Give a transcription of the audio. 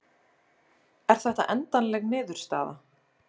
Er þetta endanleg niðurstaða?